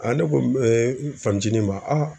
ne ko m n fanicinin ma